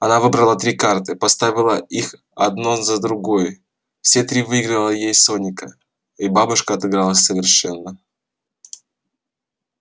она выбрала три карты поставила их одно за другой все три выиграла ей соника и бабушка отыгралась совершенно